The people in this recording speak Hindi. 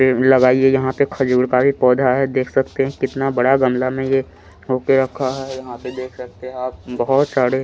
पेड़ लगाइए यहाँ पे खजूर का भी पोधा है देख सकते कितना बड़ा गमला में ये होके रखा है यहाँ पर देख सकते है आप बोहोत सारे--